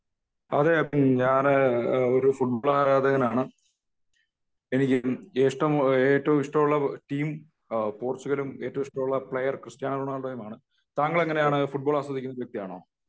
അതെ ഞാൻ ഒരു ഫുട്ബോൾ ആരാധകനാണ് . എനിക്ക് ഏറ്റവും ഇഷ്ടമുള്ള ടീം പോർച്ചുഗലും ഏറ്റവും ഇഷ്ടമുള്ള പ്ലയെർ ക്രിസ്റ്റ്യാനോ റൊണാൾഡോയും ആണ്